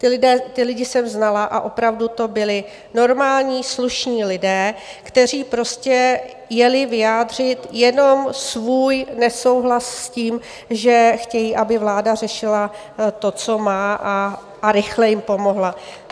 Ty lidi jsem znala a opravdu to byli normální slušní lidé, kteří prostě jeli vyjádřit jenom svůj nesouhlas s tím, že chtějí, aby vláda řešila to, co má, a rychle jim pomohla.